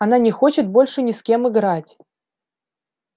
она не хочет больше ни с кем играть